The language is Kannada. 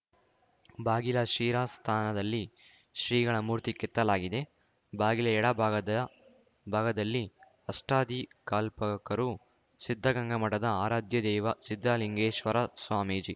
ಬಾಗಿಲ ಶಿರಸ್ಥಾನದಲ್ಲಿ ಶ್ರೀಗಳ ಮೂರ್ತಿ ಕೆತ್ತಲಾಗಿದೆ ಬಾಗಿಲ ಎಡ ಭಾಗದ ಭಾಗದಲ್ಲಿ ಅಷ್ಟದಿಕಾಲ್ಪಕರು ಸಿದ್ಧಗಂಗಾ ಮಠದ ಆರಾಧ್ಯ ದೈವ ಸಿದ್ಧಲಿಂಗೇಶ್ವರ ಸ್ವಾಮೀಜಿ